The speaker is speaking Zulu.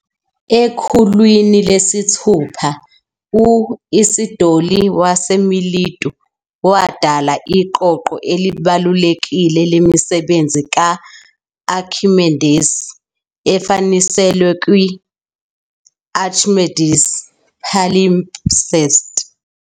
Ekhulwini lesithupha, u-Isidoli waseMilitu wadala Iqoqo elibalulekile lemisebenzi ka-Akhimendesi efaniselwe kwi-"Archimedes Palimpsest".